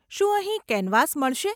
શું અહીં કેનવાસ મળશે?